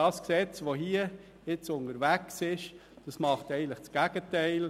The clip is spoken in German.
Das Gesetz, das hier nun unterwegs ist, macht eigentlich das Gegenteil.